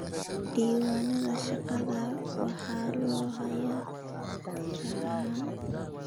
Diiwaanada shaqada waxaa loo hayaa tixraac ahaan.